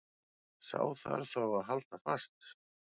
Sá þarf þá að halda fast.